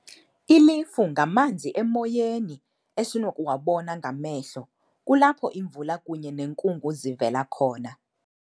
Ilifu ngamanzi emoyeni esinokuwabona ngamehlo. Kulapho imvula kunye nenkungu zivela khona.